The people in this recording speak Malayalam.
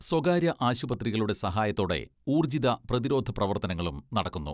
സ്വകാര്യ ആശുപത്രികളുടെ സഹായത്തോടെ ഊർജിത പ്രതിരോധ പ്രവർത്തനങ്ങളും നടക്കുന്നു.